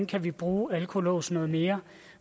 kan bruge alkolåse noget mere